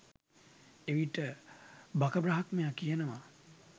එවිට බක බ්‍රහ්මයා කියනවා